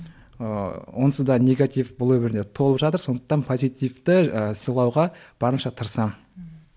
ыыы онсыз да негатив бұл өмірде толып жатыр сондықтан позитивті ы сыйлауға барынша тырысамын